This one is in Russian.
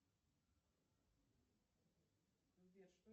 что делать если не нравится язык но его надо обязательно знать